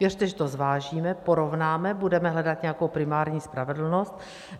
Věřte, že to zvážíme, porovnáme, budeme hledat nějakou primární spravedlnost.